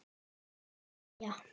Má segja?